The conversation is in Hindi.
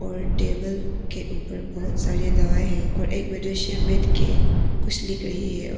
और एक टेबल के ऊपर बहोत सारे दवा है और एक मनुष्य बैठके कुछ लिख रही है और--